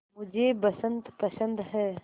मुझे बसंत पसंद है